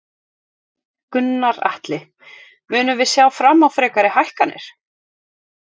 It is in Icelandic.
Gunnar Atli: Munum við sjá fram á frekari hækkanir?